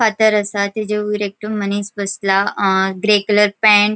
फातर आसा तचे वयर एकटो मनिस बसला अ ग्रे कलर पेंट --